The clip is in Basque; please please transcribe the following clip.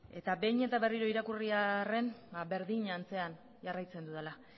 eta behin eta berriro irakurri arren berdin antzean jarraitzen dudala